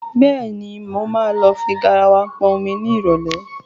Bẹ́ẹ̀ni, mo máa lọ fi garawa pọn omi ní ìrọ̀lẹ̀